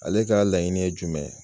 Ale ka laɲini ye jumɛn ye.